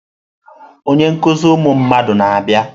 Onye nkuzi ụmụ mmadụ na-abịa.